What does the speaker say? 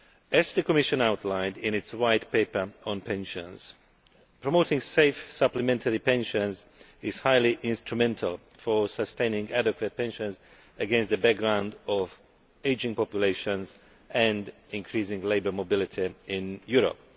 As the Commission outlined in its White Paper on pensions, promoting safe supplementary pensions is highly instrumental in sustaining adequate pensions against the background of ageing populations and increasing labour mobility in Europe.